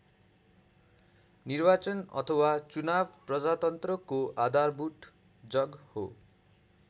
निर्वाचन अथवा चुनाव प्रजातन्त्रको आधारभूत जग हो।